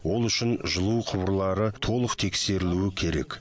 ол үшін жылу құбырлары толық тексерілуі керек